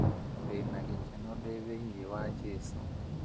Ndĩna gĩkeno ndĩ thĩinĩ wa jesũ